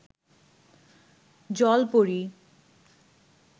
জল পরী